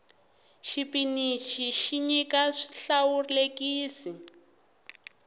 xipinici xi nyika swihlawulekisi